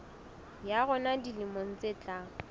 ya rona dilemong tse tlang